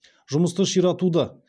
жұмысты ширатуды